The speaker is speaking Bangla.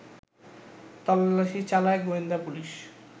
তল্লাশি চালায় গোয়েন্দা পুলিশ